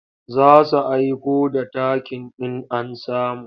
Za su aiko da takin in an samu.